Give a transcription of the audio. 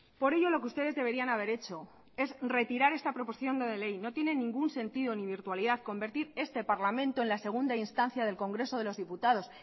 por ello lo que ustedes deberían haber hecho es retirar esta proposición no de ley no tiene ningún sentido ni virtualidad convertir este parlamento en la segunda instancia del congreso de los diputados